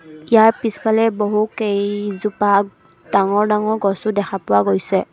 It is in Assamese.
ইয়াৰ পিছফালে বহু কেইইজোপা ডাঙৰ ডাঙৰ গছো দেখা পোৱা গৈছে।